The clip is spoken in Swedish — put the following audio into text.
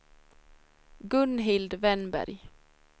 Gunhild Wennberg